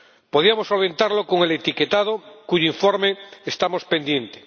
podríamos solventarlo con el etiquetado, de cuyo informe estamos pendientes